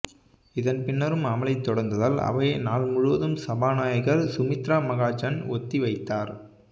இதன்பின்னரும் அமளி தொடர்ந்ததால் அவையை நாள் முழுவதும் சபாநாயகர் சுமித்ரா மகாஜன் ஒத்தி வைத்தார்